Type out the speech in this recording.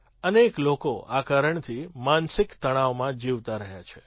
અનેક લોકો આ કારણથી માનસિક તણાવમાં જીવતા રહ્યા છે